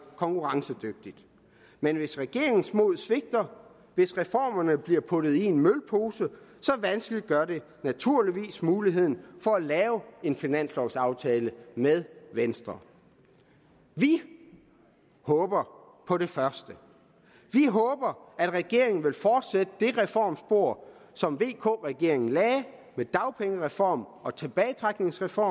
konkurrencedygtigt men hvis regeringens mod svigter hvis reformerne bliver puttet i en mølpose vanskeliggør det naturligvis muligheden for at lave en finanslovaftale med venstre vi håber på det første vi håber at regeringen vil fortsætte det reformspor som vk regeringen lagde med dagpengereform og tilbagetrækningsreform